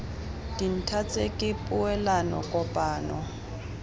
dintha tse ke poelano kopano